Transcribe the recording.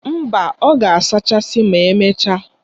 Mba, ọ ga-asachasi ma emechaa.